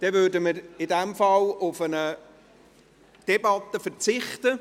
Dann würden wir in diesem Fall auf eine Debatte verzichten.